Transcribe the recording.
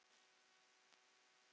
Hvernig slær þetta þig?